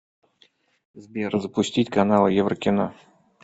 сбер запустить каналы еврокино